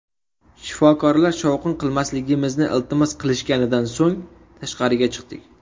Shifokorlar shovqin qilmasligimizni iltimos qilishganidan so‘ng tashqariga chiqdik.